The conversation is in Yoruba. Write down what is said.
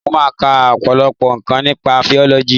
Mo máa ka ọ̀pọ̀lọpọ̀ nǹkan nípa fisiọ́lọ́jì